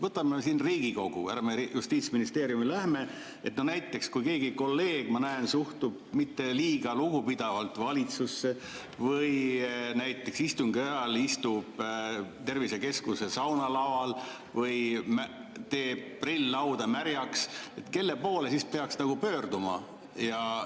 Võtame siin Riigikogu, ärme Justiitsministeeriumi lähme, et näiteks kui keegi kolleeg, ma näen, suhtub mitte liiga lugupidavalt valitsusse või näiteks istungi ajal istub tervisekeskuse saunalaval või teeb prill-lauda märjaks, siis kelle poole peaks pöörduma?